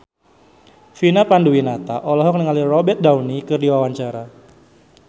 Vina Panduwinata olohok ningali Robert Downey keur diwawancara